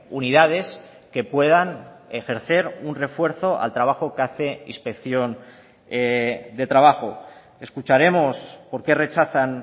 unidades que puedan ejercer un refuerzo al trabajo que hace inspección de trabajo escucharemos por qué rechazan